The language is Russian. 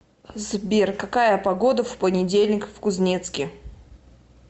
сбер какая погода в понедельник в кузнецке